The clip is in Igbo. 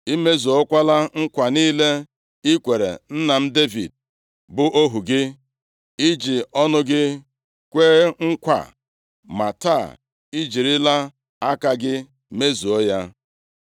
I mezuokwala nkwa niile i kwere nna m Devid, bụ ohu gị. I ji ọnụ gị kwee nkwa a, ma taa, i jirila aka gị mezuo ya.